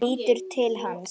Lítur til hans.